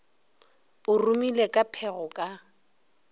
o rumile ka phego ka